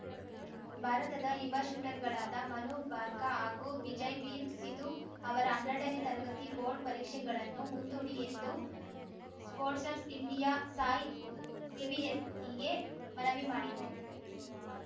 ಭಾರತದ ಯುವ ಶೂಟರ್‌ಗಳಾದ ಮನು ಭಾರ್ಕಾ ಹಾಗೂ ವಿಜಯ್‌ವೀರ್ ಸಿಧು ಅವರ ಹನ್ನೆರಡನೇ ತರಗತಿ ಬೋರ್ಡ್‌ ಪರೀಕ್ಷೆಗಳನ್ನು ಮುಂದೂಡಿ ಎಂದು ಸ್ಪೋರ್ಟ್ಸರ್ ಇಂಡಿಯಾಸಾಯ್‌ ಸಿಬಿಎಸ್‌ಇಗೆ ಮನವಿ ಮಾಡಿದೆ